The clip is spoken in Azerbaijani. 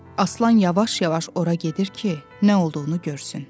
Aslan yavaş-yavaş ora gedir ki, nə olduğunu görsün.